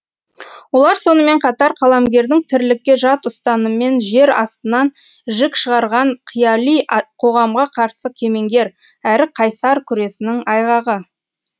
олар сонымен қатар қаламгердің тірлікке жат ұстаныммен жер астынан жік шығарған қияли қоғамға қарсы кемеңгер әрі қайсар күресінің айғағы